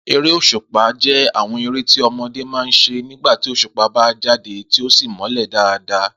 Eré òs̩ùpa jé̩ àwo̩n eré tí o̩mo̩dé máa ń s̩e nígbà tí òs̩ùpá bá jáde tí ó sì mó̩lè̩ dáadáa